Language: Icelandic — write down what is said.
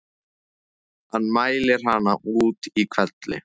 Hann mælir hana út í hvelli.